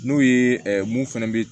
N'o ye mun fɛnɛ bɛ